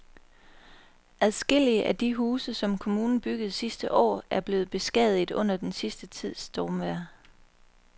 Adskillige af de huse, som kommunen byggede sidste år, er blevet beskadiget under den sidste tids stormvejr.